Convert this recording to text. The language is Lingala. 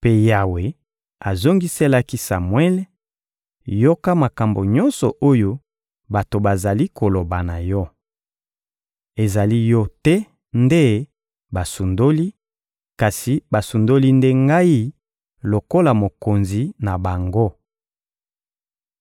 Mpe Yawe azongiselaki Samuele: «Yoka makambo nyonso oyo bato bazali koloba na yo. Ezali yo te nde basundoli, kasi basundoli nde Ngai lokola Mokonzi na bango.